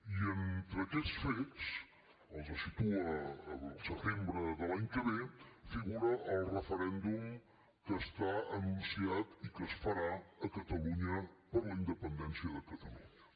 i entre aquest fets el situa al setembre de l’any que ve figura el referèndum que està anunciat i que es farà a catalunya per la independència de catalunya